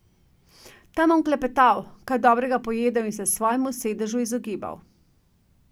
Tam bom klepetal, kaj dobrega pojedel in se svojemu sedežu izogibal.